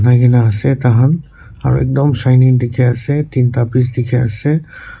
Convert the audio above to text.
asey tahan aro ekdum shinning dikhi asey tinta piece dikhi asey.